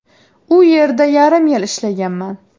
U yerda yarim yil ishlaganman.